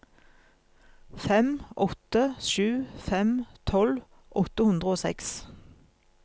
fem åtte sju fem tolv åtte hundre og seks